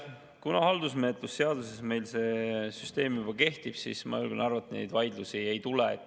Kuna haldusmenetluse seaduse järgi meil see süsteem juba kehtib, siis ma julgen arvata, et neid vaidlusi ei tule.